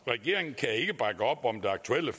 regeringen kan ikke bakke op om det aktuelle